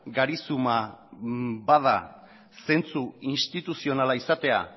garizuma bada zentzu instituzionala izatea